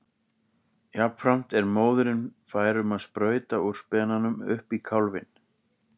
Jafnframt er móðirin fær um að sprauta úr spenanum upp í kálfinn.